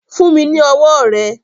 Fún mi ni ọwọ́ rẹ.